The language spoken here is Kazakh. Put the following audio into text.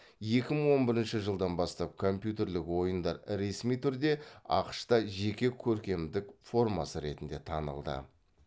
екі мың он бірінші жылдан бастап компьютерлік ойындар ресми түрде ақш та жеке көркемдік формасы ретінде танылды